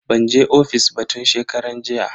Ban je ofis ba tun shekaran jiya.